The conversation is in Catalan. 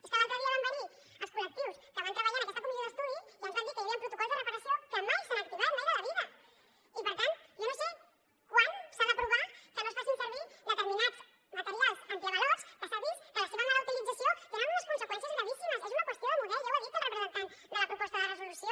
és que l’altre dia van venir els col·lectius que van treballar en aquesta comissió d’estudi i ens van dir que hi havia protocols de reparació que mai s’han activat mai de la vida i per tant jo no sé quan s’ha d’aprovar que no es facin servir determinats materials antiavalots que s’ha vist que la seva mala utilització té unes conseqüències gravíssimes és una qüestió de model ja ho ha dit el representant de la proposta de resolució